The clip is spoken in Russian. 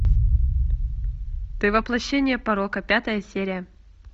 ты воплощение порока пятая серия